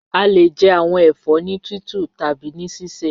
A le jẹ awọn ẹfọ ni titu tabi ni sisẹ.